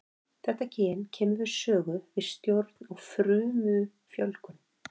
Þetta gen kemur við sögu við stjórn á frumufjölgun.